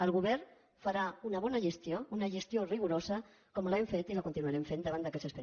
el govern farà una bona gestió una gestió rigorosa com l’hem fet i la continuarem fent davant d’aquests expedients